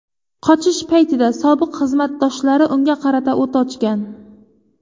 Qochish paytida sobiq xizmatdoshlari unga qarata o‘t ochgan.